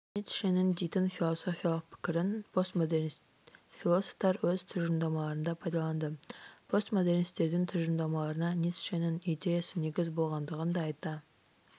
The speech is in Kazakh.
ницшенің дейтін философиялық пікірін постмодернист-философтар өз тұжырымдамаларында пайдаланды постмодернистердің тұжырымдамаларына ницшенің идеясы негіз болғандығын да айта